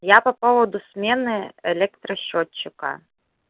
я по поводу смены электросчётчика